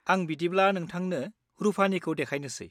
आं बिदिब्ला नोंथांनो रुफानिखौ देखायनोसै।